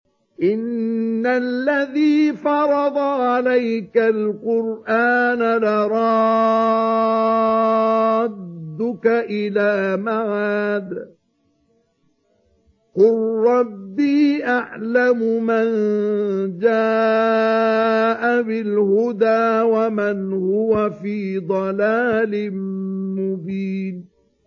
إِنَّ الَّذِي فَرَضَ عَلَيْكَ الْقُرْآنَ لَرَادُّكَ إِلَىٰ مَعَادٍ ۚ قُل رَّبِّي أَعْلَمُ مَن جَاءَ بِالْهُدَىٰ وَمَنْ هُوَ فِي ضَلَالٍ مُّبِينٍ